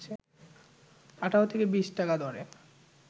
১৮ থেকে ২০ টাকা দরে